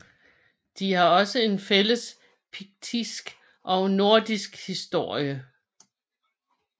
De har også en fælles piktisk og nordisk historie